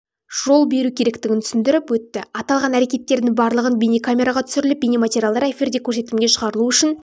жол беру керектігін түсіндіріп өтті аталған әрекеттердің барлығы бейнекамераға түсіріліп бейнематериалдар эфирде көрсетілімге шығарылуы үшін